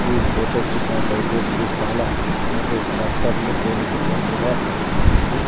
ఈ ఫోటో చూసినట్లయితే ఇది చాలా మంది ట్రాక్టర్లు తోలుతున్నట్లుగా కనిపిస్తుంది.